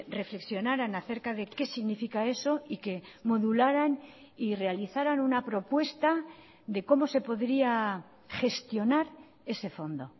reflexionaran a cerca de qué significa eso y que modularan y realizaran una propuesta de cómo se podría gestionar ese fondo